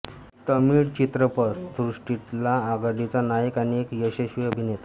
तमिळ चित्रपट सृष्टितला आघाडिचा नायक आणि एक यशस्वी अभिनेता